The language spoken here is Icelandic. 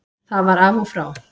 Það var af og frá.